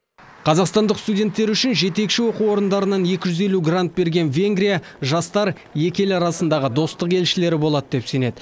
қазақстандық студенттер үшін жетекші оқу орындарынан екі жүз елу грант берген венгрия жастар екі ел арасындағы достық елшілері болады деп сенеді